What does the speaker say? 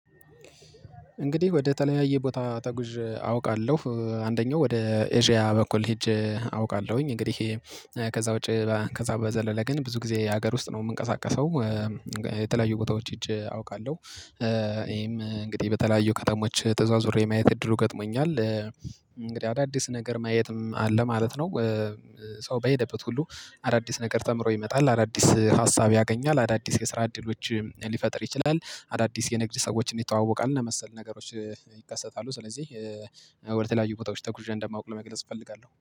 እንግዲህ ወደ ተለያየ ቦታ ተጉዥ አውቃለሁ አንደኛው ወደ ኤዥያ በኩል ሄጄ አውቃለሁኝ እንግዲህ ከዛ ውጪ ከዛ በዘለለ ግን ብዙ ጊዜ ሀገር ውስጥ ነው የምንቀሳቀሰው። የተለያዩ ቦታዎች ሂጀ አውቃለሁ። ይሄም እንግዲህ በተለያዩ ከተሞች ተዟዙሬ የማየት እድሉ ገጥሞኛል። አዳዲስ ነገር ማየትም አለ ማለት ነው። ሰው በሄደበት ሁሉ አዳዲስ ነገር ተምሮ ይመጣል አዳዲስ ሀሳብ ያገኛል አዳዲስ የስራ እድሎች ሊፈጥር ይችላል። አዳዲስ የንግድ ሰዎችን ይተዋወቃል እና መሰል ነገሮች ይከሰታሉ። ስለዚህ ወደ ተለያዩ ቦታዎች ተጉዤ እንደማውቅ ለመግለጽ እፈልጋለሁ